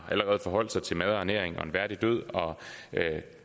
forholdt sig til mad og ernæring og en værdig død og